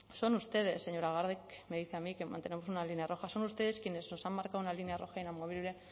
son ustedes señora garde me dice a mí que mantenemos una línea roja son ustedes quienes os marcado una línea roja inamovible